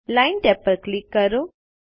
line tab પર click કરો